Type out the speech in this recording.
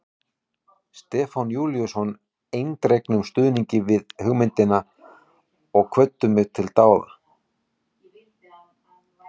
Stefán Júlíusson eindregnum stuðningi við hugmyndina og hvöttu mig til dáða.